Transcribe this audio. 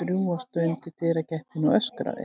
drjúga stund í dyragættinni og öskraði.